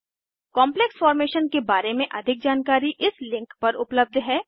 complex formation के बारे में अधिक जानकारी इस लिंक पर उपलब्ध है